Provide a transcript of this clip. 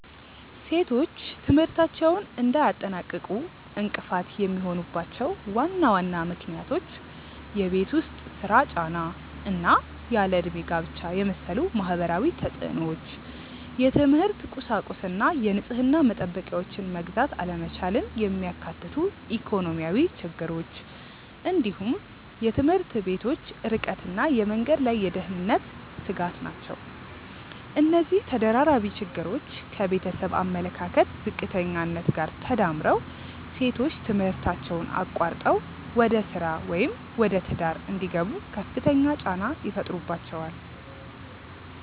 ሴቶች ትምህርታቸውን እንዳያጠናቅቁ እንቅፋት የሚሆኑባቸው ዋና ዋና ምክንያቶች የቤት ውስጥ ሥራ ጫና እና ያለ ዕድሜ ጋብቻን የመሰሉ ማህበራዊ ተፅዕኖዎች፣ የትምህርት ቁሳቁስና የንጽህና መጠበቂያዎችን መግዛት አለመቻልን የሚያካትቱ ኢኮኖሚያዊ ችግሮች፣ እንዲሁም የትምህርት ቤቶች ርቀትና የመንገድ ላይ የደህንነት ስጋት ናቸው። እነዚህ ተደራራቢ ችግሮች ከቤተሰብ አመለካከት ዝቅተኛነት ጋር ተዳምረው ሴቶች ትምህርታቸውን አቋርጠው ወደ ሥራ ወይም ወደ ትዳር እንዲገቡ ከፍተኛ ጫና ይፈጥሩባቸዋል።